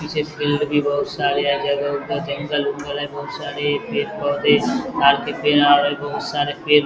पीछे फिल्ड भी बोहोत सारे जंगल-उंगल है बोहोत सारे पेड़-पौधे ताड के बोहोत सारे पेड़ --